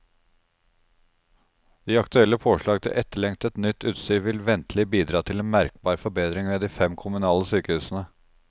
De aktuelle påslag til etterlengtet, nytt utstyr vil ventelig bidra til merkbar forbedring ved de fem kommunale sykehusene.